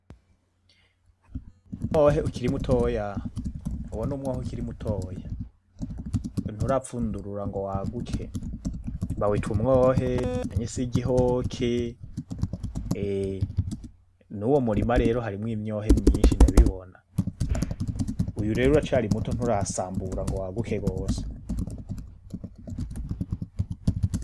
Umwohe ukiri mutoya, uyo numwohe ukiri mutoya, nturapfundurura ngo waguke, bawita umwohe, ncakese igihoke. nuwo murima harimwo imyohe myinshi ndabibona. Uyu rero uracari muto nturasambura ngo waguke gose.